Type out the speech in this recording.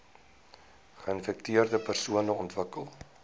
geinfekteerde persone ontwikkel